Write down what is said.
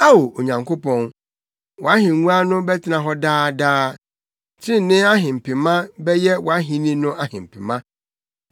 Ao Onyankopɔn, wʼahengua no bɛtena hɔ daa daa; trenee ahempema bɛyɛ wʼahenni no ahempema.